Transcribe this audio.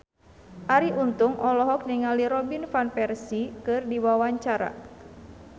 Arie Untung olohok ningali Robin Van Persie keur diwawancara